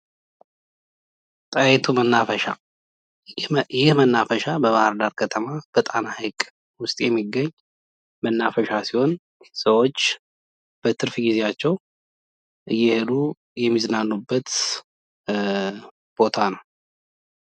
ጣይቱ መናፈሻ ይህ መናፈሻ በባህርዳር ከተማ በጣና ሐይቅ ውስጥ የሚገኝ መናፈሻ ሲሆን ሰዎች በትርፍ ጊዜያቸው እየሄዱ የሚዝናኑበት ቦታ ነው።